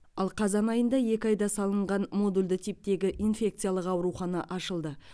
ал қазан айында екі айда салынған модульді типтегі инфекциялық аурухана ашылды